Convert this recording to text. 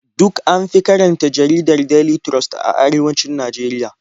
Duk an fi karanta jaridar Daily Trust a arewacin Najeriya.